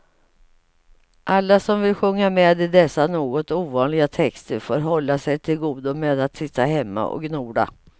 Alla som vill sjunga med i dessa något ovanliga texter får hålla sig till godo med att sitta hemma och gnola.